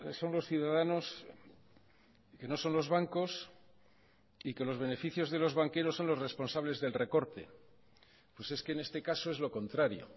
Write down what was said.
son los ciudadanos que no son los bancos y que los beneficios de los banqueros son los responsables del recorte pues es que en este caso es lo contrario